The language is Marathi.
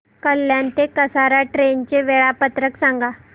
कल्याण ते कसारा ट्रेन चे वेळापत्रक सांगा